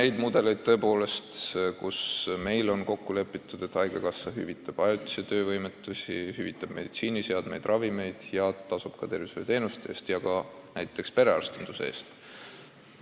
On mudeleid, mille korral on kokku lepitud, et haigekassa hüvitab ajutist töövõimetust, hüvitab meditsiiniseadmete ja ravimite oste ja tasub ka tervishoiuteenuste eest, sh näiteks perearstinduse eest.